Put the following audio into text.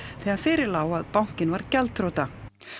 þegar fyrir lá að bankinn var gjaldþrota